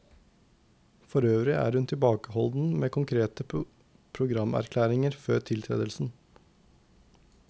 Forøvrig er hun tilbakeholden med konkrete programerklæringer før tiltredelsen.